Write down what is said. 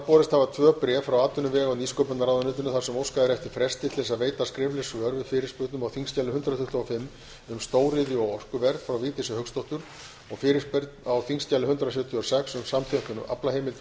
borist hafa tvö bréf frá atvinnuvega og nýsköpunarráðuneytinu þar sem óskað er eftir fresti til að veita skrifleg svör við fyrirspurn á þingskjali hundrað tuttugu og fimm um stóriðju og orkuverð frá vigdísi hauksdóttur og fyrirspurn á þingskjali hundrað sjötíu og sex um samþjöppun aflaheimilda og